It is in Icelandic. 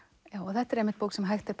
þetta er einmitt bók sem hægt er